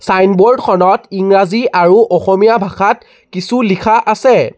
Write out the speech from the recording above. Signboard খনত ইংৰাজী আৰু অসমীয়া ভাষাত কিছু লিখা আছে।